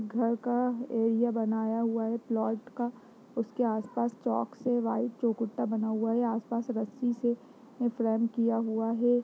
घर का एरिया बनाया हुआ है प्लॉट का । उसके आस पास चॉक से व्हाइट बना हुआ है । आस-पास रस्सी से फ्रेम किया हुआ हे ।